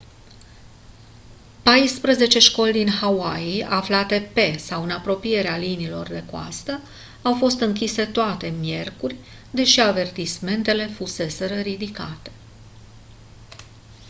paisprezece școli din hawaii aflate pe sau în apropierea liniilor de coastă au fost închise toate miercuri deși avertismentele fuseseră ridicate